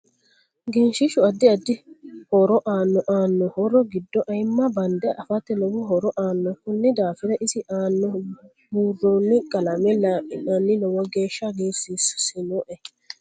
Egenshiishu addi addi horo aanno aanno horo giddo ayiimma bande afate lowo horo aanno konni daafira isi aanna buuroonni qalame la'ayanni lowo geesha hagiirisiinoe